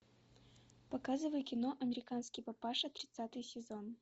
показывай кино американский папаша тридцатый сезон